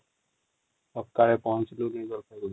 ସକାଳେ ପହଁଚିଲୁ |